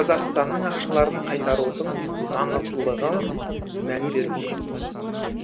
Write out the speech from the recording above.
қазақстанның ақшаларын қайтарудың маңыздылығын мән беруде